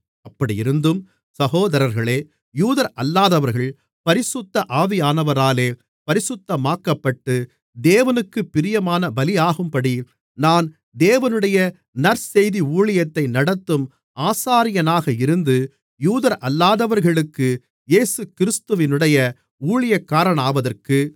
அப்படியிருந்தும் சகோதரர்களே யூதரல்லாதவர்கள் பரிசுத்த ஆவியானவராலே பரிசுத்தமாக்கப்பட்டு தேவனுக்குப் பிரியமான பலியாகும்படி நான் தேவனுடைய நற்செய்தி ஊழியத்தை நடத்தும் ஆசாரியனாக இருந்து யூதரல்லாதவர்களுக்கு இயேசுகிறிஸ்துவினுடைய ஊழியக்காரனாவதற்கு